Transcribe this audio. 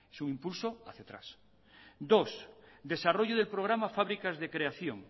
su impulso hacia atrás dos desarrollo del programa fábricas de creación